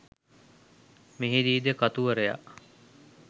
මෙහිදීද කතුවරයා